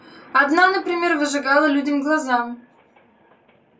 одна например выжигала людям глаза